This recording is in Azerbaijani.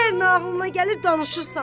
Hər nə ağlına gəlir, danışırsan.